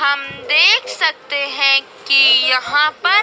हम देख सकते हैं कि यहां पर--